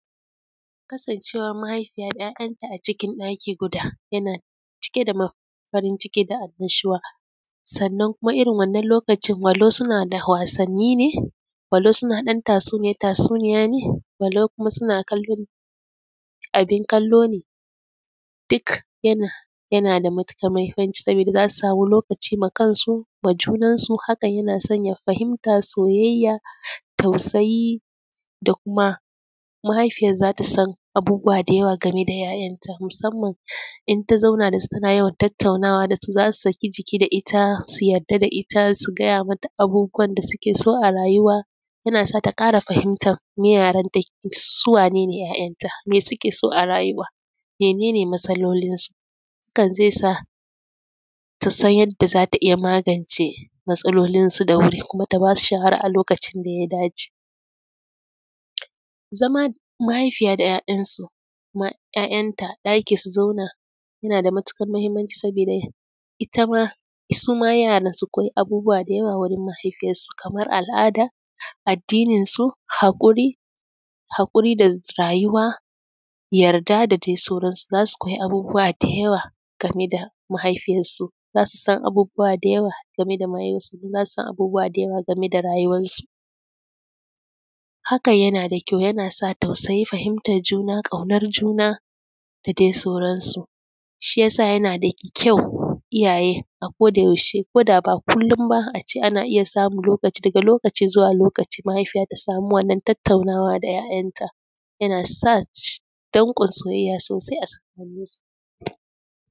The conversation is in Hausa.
Kasancewar mahaifiya 'ya'yanta a cikin ɗaki guda yana cike da farin ciki da annnashuwa sannan kuma wannan lokaci walau suna da wasanni ne walau suna ɗan tatsuniya ne walau suna kallon abin kallo ne duk yana da matukar muhimmanci, saboda za su sama lokaci ma junansu ma kansu fahimta soyayya tausayi da kuma mahaifiyar za ta san abubuwa da yawa game da 'ya'yanta. Musamman idan ta zauna da su tana yawan tattaunawa da su za su saki jiki da ita su yarda da ita a duk abubuwan da suke so a rayuwa yana sa ta kara fahimtar me yara ta, su wane ne yaran nata, me suke so, mene ne matsalolinsu. Hakan zai sa ta san yadda za ta iya magance matsalolinsu da wuri kuma ta ba su shawara akan abun da ya dace. Zaman mahaifiya da 'ya'yanta a ɗaki su zauna yana da matukar muhimmanci Saboda ita ma su ma yara su koya abubuwa da yawa wajen mahaifiyar su kamar al'ada, addininsu hakuri da rayuwa, yarda da dai sauransu. Za su koyi abubuwa da yawa game da mahaifiyansu, to za su san abubuwa da yawa game da rayuwansu. Hakan na ƙyau yana sa fahimtar juna ƙaunar juna da sauransu, shi ya sa yana da ƙyau iyaye a koyaushe ko da ba kullum ba a ce za a iya samun lokaci daga lokacin zuwa lokaci mahaifiya ta sama wannan tattaunawa da 'ya'yanta yana sa dankon soyayya a tsakaninsu.